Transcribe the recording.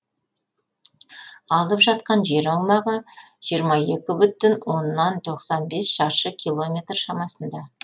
алып жатқан жер аумағы жиырма екі бүтін оннан тоқсан бес шаршы километр шамасында